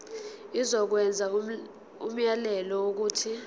izokwenza umyalelo wokuthi